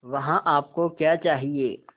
वहाँ आप को क्या चाहिए